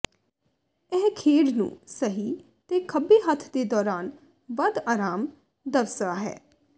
ਇਹ ਖੇਡ ਨੂੰ ਸਹੀ ਤੇ ਖੱਬੇ ਹੱਥ ਦੇ ਦੌਰਾਨ ਵੱਧ ਆਰਾਮ ਦਵਸਆ ਹੈ